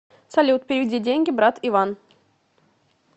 салют переведи деньги брат иван